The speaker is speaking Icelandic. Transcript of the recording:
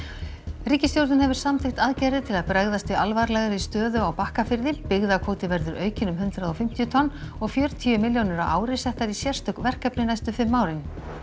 ríkisstjórnin hefur samþykkt aðgerðir til að bregðast við alvarlegri stöðu á Bakkafirði byggðakvóti verður aukinn um hundrað og fimmtíu tonn og fjörutíu milljónir á ári settar í sérstök verkefni næstu fimm árin